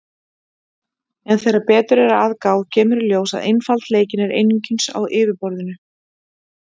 En þegar betur er að gáð kemur í ljós að einfaldleikinn er einungis á yfirborðinu.